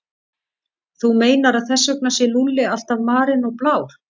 Þú meinar að þess vegna sé Lúlli alltaf marinn og blár?